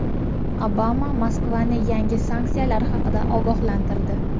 Obama Moskvani yangi sanksiyalar haqida ogohlantirdi.